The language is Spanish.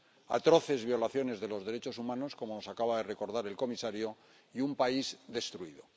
atroces violaciones de los derechos humanos, como nos acaba de recordar el comisario, y un país destruido.